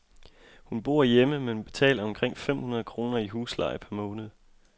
Hun bor hjemme, men betaler omkring fem hundrede kroner i husleje per måned.